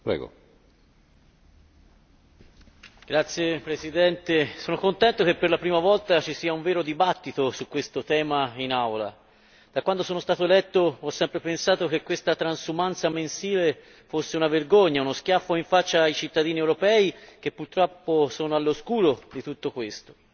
Signor Presidente, mi compiaccio che per la prima volta ci sia un vero dibattito in Aula su questo tema. Sin da quando sono stato eletto, ho sempre pensato che questa transumanza mensile fosse una vergogna, uno schiaffo in faccia ai cittadini europei, che purtroppo sono all'oscuro di tutto questo.